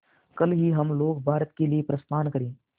कल ही हम लोग भारत के लिए प्रस्थान करें